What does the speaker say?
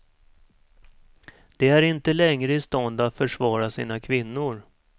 De är inte längre i stånd att försvara sina kvinnor.